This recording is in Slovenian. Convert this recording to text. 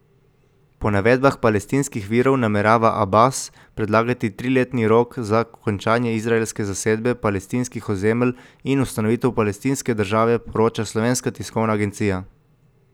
Po navedbah palestinskih virov namerava Abas predlagati triletni rok za končanje izraelske zasedbe palestinskih ozemelj in ustanovitev palestinske države, poroča Slovenska tiskovna agencija.